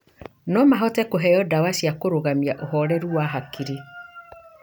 No mahote kũheo ndawa cia kũrũgamia ũhoreru wa hakiri.